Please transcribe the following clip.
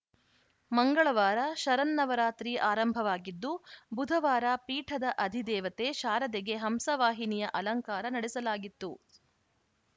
ಮಂಗಳವಾರ ಶರನ್ನವರಾತ್ರಿ ಆರಂಭವಾಗಿದ್ದು ಬುಧವಾರ ಪೀಠದ ಅಧಿದೇವತೆ ಶಾರದೆಗೆ ಹಂಸವಾಹಿನಿಯ ಅಲಂಕಾರ ನಡೆಸಲಾಗಿತ್ತು